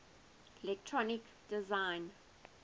electronic design